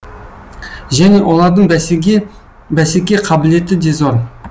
және олардың бәсеке қабілеті де зор